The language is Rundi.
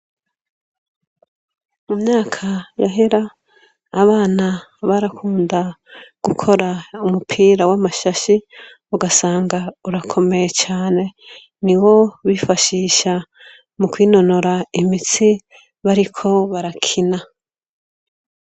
Mu myaka yahera, abana barakunda gukora umupira w'amashashe ugasanga urakomeye cane, niwo bifashisha mu kwinonora imitsi bariko barakina.